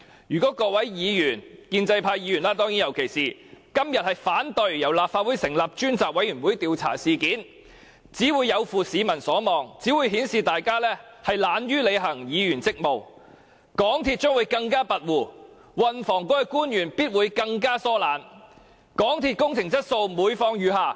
如果各位議員，尤其是建制派議員，今天反對由立法會成立專責委員會調查事件，只會有負市民所望，只會顯示大家懶於履行議員職務，港鐵公司將會更加跋扈，運輸及房屋局的官員必會更加疏懶，港鐵公司的工程質素必會每況愈下。